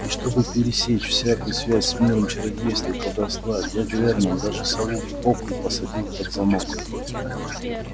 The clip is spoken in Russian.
и чтобы пересечь всякую связь с миром чародейства и колдовства дядя вернон даже сову буклю посадил под замок